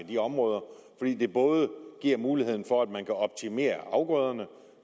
de områder fordi det både giver mulighed for at man kan optimere afgrøderne og